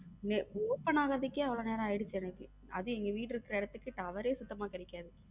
வ open ஆகுறதுக்கு அவ்வளவு நேரம் ஆயிடுச்சு எனக்கு அது எங்க வீடு இருக்கிற இடத்துக்கு tower ரே சுத்தமா கிடைக்காது.